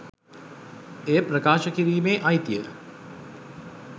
එය ප්‍රකාශ කිරීමේ අයිතිය